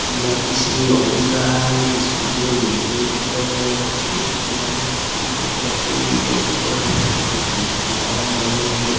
यह किसी ऑफिस दिख रहा है जिसमें उठे बैठे हुए दिख रहे हैं कुछ व्यक्तियों ने टोपी पेहेन कर रखी हुई है ऊपर एक डिजाइन वन बनी हुई है।